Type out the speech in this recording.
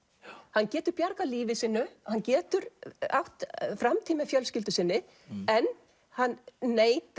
hann getur bjargað lífi sínu hann getur átt framtíð með fjölskyldu sinni en hann neitar